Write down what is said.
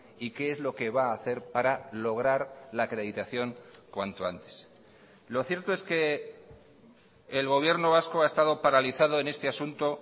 y qué es lo que va a hacer para lograr la acreditación cuanto antes lo cierto es que el gobierno vasco ha estado paralizado en este asunto